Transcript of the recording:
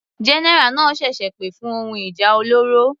General náà ṣẹ̀ṣẹ̀ pè fún ohun ìjà olóró.